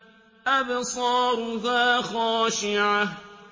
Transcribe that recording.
أَبْصَارُهَا خَاشِعَةٌ